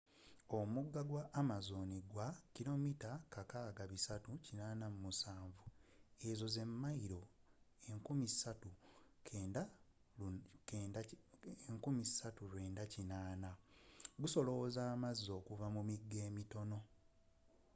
omugga gwa amazon gwa 6,387 km zemailo 3,980. gusolooza amazzi okuva mu migga emitono